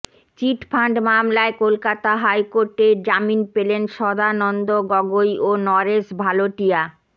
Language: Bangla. চিটফান্ড মামলায় কলকাতা হাইকোর্টে জামিন পেলেন সদানন্দ গগৈ ও নরেশ ভালোটিয়া